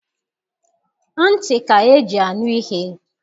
Ntị ka e ji anụ ihe.